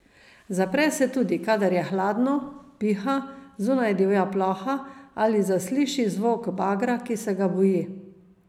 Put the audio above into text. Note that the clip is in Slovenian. Zapre se tudi, kadar je hladno, piha, zunaj divja ploha ali zasliši zvok bagra, ki se ga boji.